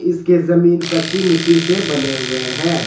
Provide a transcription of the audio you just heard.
इसके जमीन कच्ची मिट्टी से बने हुए हैं।